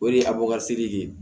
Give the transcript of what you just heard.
O de ye ye